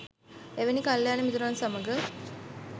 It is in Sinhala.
එවැනි කල්‍යාණ මිතුරන් සමඟ